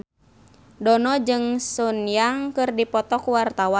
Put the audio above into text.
Dono jeung Sun Yang keur dipoto ku wartawan